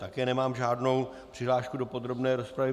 Také nemám žádnou přihlášku do podrobné rozpravy.